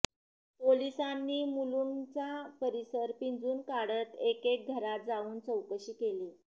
पोलिसांनी मुलुंडचा परिसर पिंजून काढत एकेक घरात जाऊन चौकशी केली